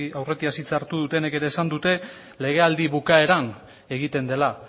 aurretiaz hitza hartu dutenek ere esan dute legealdi bukaeran egiten dela